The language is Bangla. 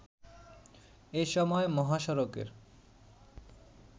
এসময় মহাসড়কের